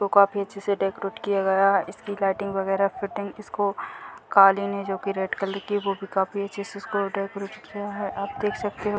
वो काफी अच्छे से डेकोरेट किया गया है। इसकी लाइटिंग वगेरह फिटिंग इसको कालीन है जो की रेड कलर की वो भी काफी अच्छे से इसको डेकोरेट किया है। आप देख सकते हो --